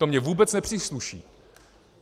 To mi vůbec nepřísluší.